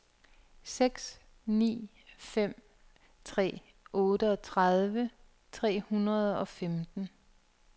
seks ni fem tre otteogtredive tre hundrede og femten